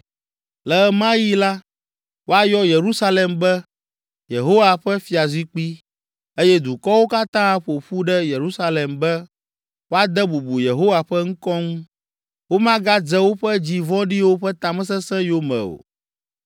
Le ɣe ma ɣi la, woayɔ Yerusalem be, Yehowa Ƒe Fiazikpui eye dukɔwo katã aƒo ƒu ɖe Yerusalem be woade bubu Yehowa ƒe ŋkɔ ŋu. Womagadze woƒe dzi vɔ̃ɖiwo ƒe tamesesẽ yome o.